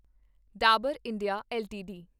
Dabur India LTD